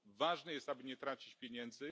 Ważne jest, aby nie tracić pieniędzy.